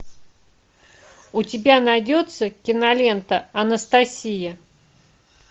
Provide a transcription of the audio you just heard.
у тебя найдется кинолента анастасия